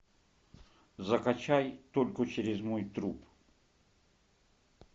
закачай только через мой труп